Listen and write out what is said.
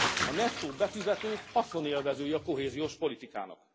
A nettó befizetők haszonélvezői a kohéziós politikának.